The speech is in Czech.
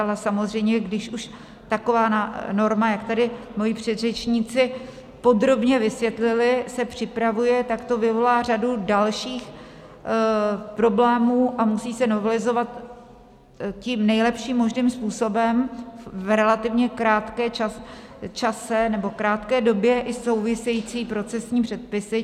Ale samozřejmě když už taková norma, jak tady moji předřečníci podrobně vysvětlili, se připravuje, tak to vyvolá řadu dalších problémů a musí se novelizovat tím nejlepším možným způsobem v relativně krátkém čase nebo krátké době i související procesní předpisy.